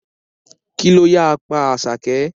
Kí ló ya pa Àṣàkẹ́?